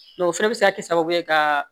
o fɛnɛ bɛ se ka kɛ sababu ye ka